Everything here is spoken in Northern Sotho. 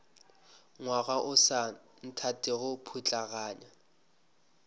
ngwaga o sa nthatego putlaganya